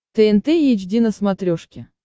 тнт эйч ди на смотрешке